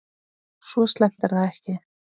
Svo slæmt er það ekki.